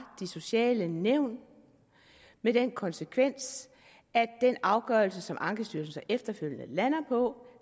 de sociale nævn med den konsekvens at den afgørelse som ankestyrelsen så efterfølgende lander på